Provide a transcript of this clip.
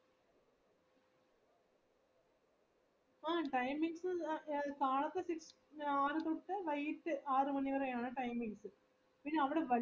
ആഹ് timings കാലത്ത് six ആറുതൊട്ട് വൈകിട്ട് ആറുമണിവരെ ആണ് timing എനിക്ക് പിന്നെ അവിടെ വല്യ വല്യ മരങ്ങൾക്ക് ഉണ്ടെടാ വല്യ വല്യ മരങ്ങള്